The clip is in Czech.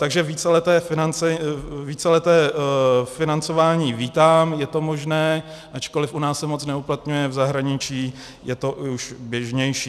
Takže víceleté financování vítám, je to možné, ačkoliv u nás se moc neuplatňuje, v zahraničí je to už běžnější.